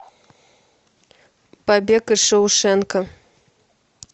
побег из шоушенка